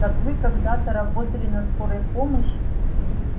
так вы когда-то работали на скорой помощи